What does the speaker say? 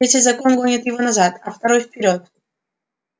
третий закон гонит его назад а второй вперёд